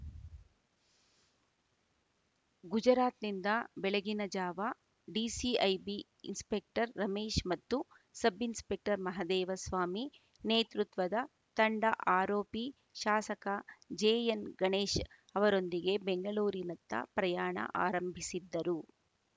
ಗುಜರಾತ್‌ನಿಂದ ಬೆಳಗ್ಗಿನ ಜಾವ DCIB inspector Ramesh ಮತ್ತು ಸಬ್‌ ಇನ್ಸ್‌ಪೆಕ್ಟರ್‌ ಮಹದೇವಸ್ವಾಮಿ ನೇತೃತ್ವದ ತಂಡ ಆರೋಪಿ ಶಾಸಕ ಜೆಎನ್‌ಗಣೇಶ್‌ ಅವರೊಂದಿಗೆ ಬೆಂಗಳೂರಿನತ್ತ ಪ್ರಯಾಣ ಆರಂಭಿಸಿದ್ದರು